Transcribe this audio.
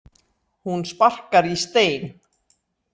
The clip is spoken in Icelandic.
Hún sparkar í stein.